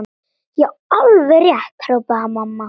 Já, alveg rétt hrópaði mamma.